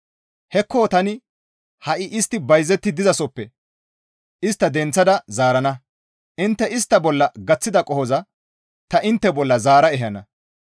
«Hekko tani ha7i istti bayzetti dizasoppe istta denththeththada zaarana; intte istta bolla gaththida qohoza ta intte bolla zaara ehana.